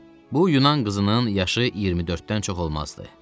Bu Yunan qızının yaşı 24-dən çox olmazdı.